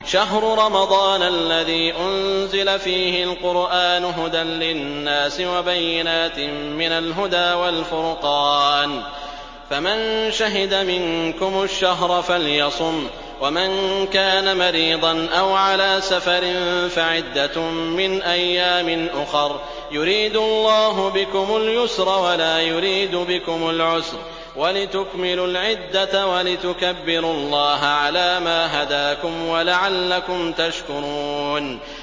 شَهْرُ رَمَضَانَ الَّذِي أُنزِلَ فِيهِ الْقُرْآنُ هُدًى لِّلنَّاسِ وَبَيِّنَاتٍ مِّنَ الْهُدَىٰ وَالْفُرْقَانِ ۚ فَمَن شَهِدَ مِنكُمُ الشَّهْرَ فَلْيَصُمْهُ ۖ وَمَن كَانَ مَرِيضًا أَوْ عَلَىٰ سَفَرٍ فَعِدَّةٌ مِّنْ أَيَّامٍ أُخَرَ ۗ يُرِيدُ اللَّهُ بِكُمُ الْيُسْرَ وَلَا يُرِيدُ بِكُمُ الْعُسْرَ وَلِتُكْمِلُوا الْعِدَّةَ وَلِتُكَبِّرُوا اللَّهَ عَلَىٰ مَا هَدَاكُمْ وَلَعَلَّكُمْ تَشْكُرُونَ